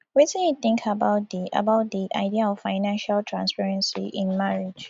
wetin you think about di about di idea of financial transparency in marriage